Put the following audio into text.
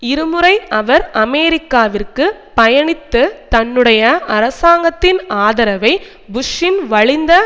இரு முறை அவர் அமெரிக்காவிற்கு பயணித்து தன்னுடைய அரசாங்கத்தின் ஆதரவை புஷ்ஷின் வலிந்த